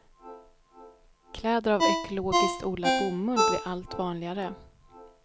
Kläder av ekologiskt odlad bomull blir allt vanligare.